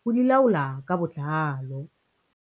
ho di laola ka botlalo.